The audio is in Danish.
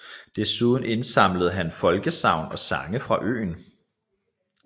Dessuden indsamlede han folkesagn og sange fra øen